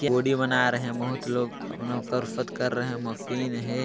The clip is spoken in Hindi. वीडियो बना रहे हैं बहुत लोग कसरत कर रहे हैं मशीन है।